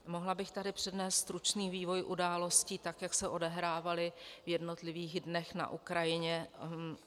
Mohla bych tady přednést stručný vývoj událostí tak, jak se odehrávaly v jednotlivých dnech na Ukrajině.